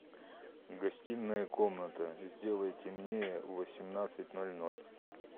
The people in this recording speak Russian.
гостиная комната сделай темнее в восемнадцать ноль ноль